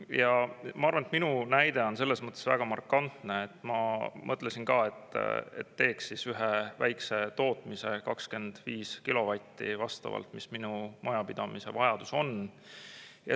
Ja ma arvan, et minu näide on selles mõttes väga markantne, et ma mõtlesin ka, et teeks ühe väikese tootmise, 25 kilovatti, mis minu majapidamise vajadus on.